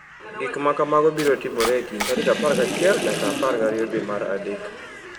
Gik ma kamago biro timore e kind tarik 11 nyaka 12 dwe mar adek.